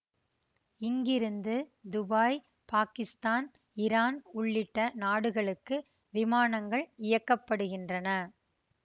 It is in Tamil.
இங்கிருந்து துபாய் பாகிஸ்தான் இரான் உள்ளிட்ட நாடுகளுக்கு விமானங்கள் இயக்க படுகின்றன